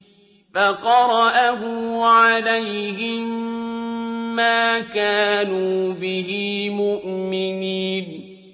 فَقَرَأَهُ عَلَيْهِم مَّا كَانُوا بِهِ مُؤْمِنِينَ